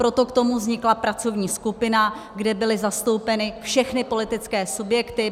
Proto k tomu vznikla pracovní skupina, kde byly zastoupeny všechny politické subjekty.